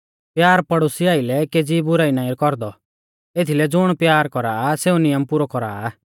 प्यार पड़ोसी आइलै केज़ी बुराई नाईं कौरदौ एथीलै ज़ुण प्यार कौरा आ सेऊ नियम पुरौ कौरा आ